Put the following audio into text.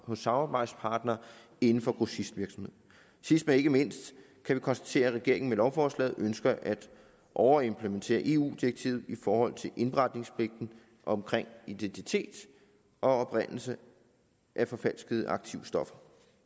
hos samarbejdspartnere inden for grossistvirksomhed sidst men ikke mindst kan vi konstatere at regeringen med lovforslaget ønsker at overimplementere eu direktivet i forhold til indberetningspligten omkring identitet og oprindelse af forfalskede aktive stoffer